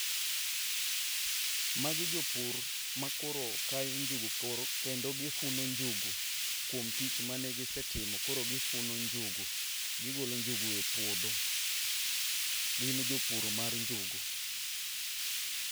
Magi jopur makoro kayo njugu koro kendo gifuna njugu kuom tich manegisetimo koro gifuno njugu gigolo njugu epuodho. Gin jopur mar njugu.